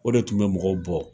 O de tun bɛ mɔgɔw bɔ.